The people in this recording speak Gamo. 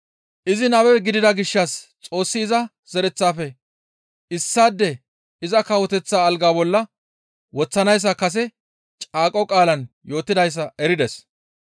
Izi nabe gidida gishshas Xoossi iza zereththafe issaade iza kawoteththa alga bolla woththanayssa kase caaqo qaalaan yootidayssa erides.